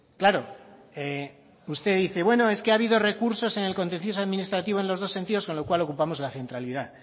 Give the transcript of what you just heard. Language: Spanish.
claro usted dice bueno es que ha habido recursos en el contencioso administrativo en los dos sentidos con lo cual ocupamos la centralidad